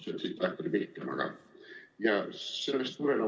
See tsitaat oli küll pikem.